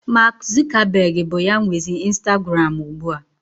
Maak Zukabeg bụ ya nwezi Instaguram ugbu a.